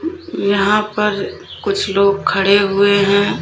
यहां पर कुछ लोग खड़े हुए हैं।